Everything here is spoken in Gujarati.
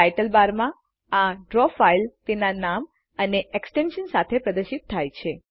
ટાઈટલ બારમાં આ ડ્રો ફાઈલ તેના નામ અને એક્સ્ટેન્શન સાથે પ્રદર્શિત થાય છે